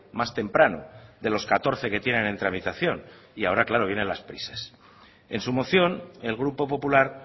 más temprano de los catorce que tienen en tramitación y ahora claro vienen las prisas en su moción el grupo popular